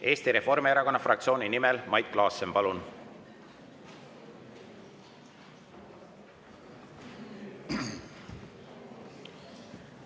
Eesti Reformierakonna fraktsiooni nimel Mait Klaassen, palun!